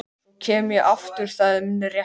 Svo kem ég aftur, það er minn réttur.